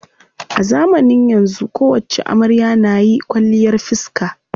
A zamanin yanzu kowacce amarya na yi kwalliyar fiska.